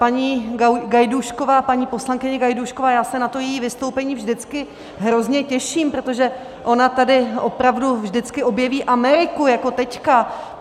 Paní Gajdůšková, paní poslankyně Gajdůšková, já se na to její vystoupení vždycky hrozně těším, protože ona tady opravdu vždycky objeví Ameriku jako teďka.